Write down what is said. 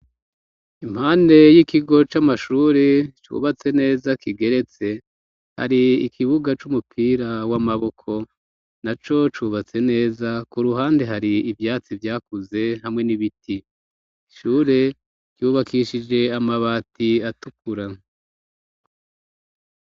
Impande y'ikigo c'amashure cubatse neza kigeretse hari ikibuga c'umupira w'amaboko na co cubatse neza ku ruhande hari ivyatsi vyakuze hamwe n'ibiti ishure ryubakishije amabati atukura.